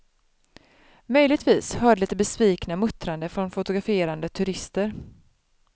Möjligtvis hördes lite besvikna muttranden från fotograferande turister.